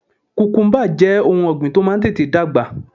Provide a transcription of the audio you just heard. Kùkúmbà jẹ́ ohun ọ̀gbìn tó máa ń tètè dàgbà